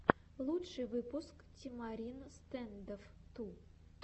лучший выпуск тимарин стэндофф ту